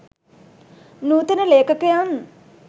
නූතන ලේඛකයන්